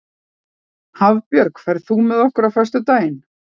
Hafbjörg, ferð þú með okkur á föstudaginn?